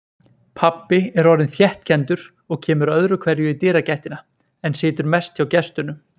Pabbi er orðinn þéttkenndur og kemur öðruhverju í dyragættina, en situr mest hjá gestunum.